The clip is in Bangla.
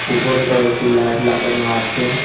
উপরে কয়েকটি লাইট লাগানো আছে।